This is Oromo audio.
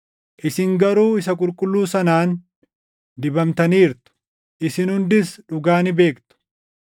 Isin garuu Isa Qulqulluu sanaan dibamtaniirtu; isin hundis dhugaa ni beektu.